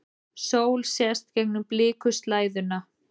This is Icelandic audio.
Sól sést gegnum blikuslæðuna.